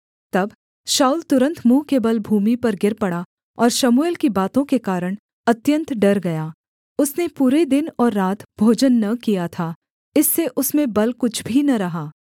तब शाऊल तुरन्त मुँह के बल भूमि पर गिर पड़ा और शमूएल की बातों के कारण अत्यन्त डर गया उसने पूरे दिन और रात भोजन न किया था इससे उसमें बल कुछ भी न रहा